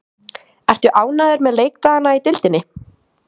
Ertu ánægður með leikdagana í deildinni?